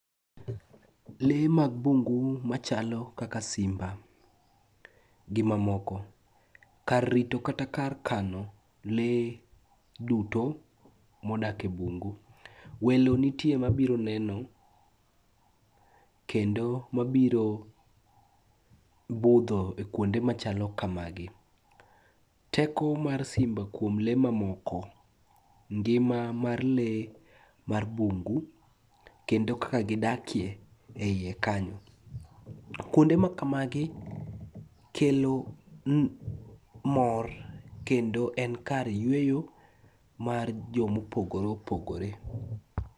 Lee mag bungu machalo kaka simba gi mamoko. Kar rito kata kar kano lee duto modak e bungu. Welo nitie mabiro neno kendo mabiro budho e kuonde machalo kamagi. Teko mar simba kuom lee mamoko, ngima mar lee mar bungu kendo kaka gidakye e iye kanyo. Kuonde makamagi kelo mor kendo en kar yweyo mar jomopogore opogore.